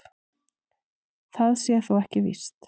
Það sé þó ekki víst